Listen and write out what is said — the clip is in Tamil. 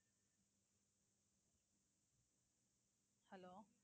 hello